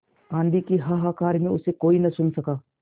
आँधी के हाहाकार में उसे कोई न सुन सका